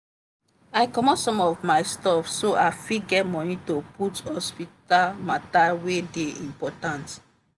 i comot some of my subs so i fit get money to put hospital matter wey dey important.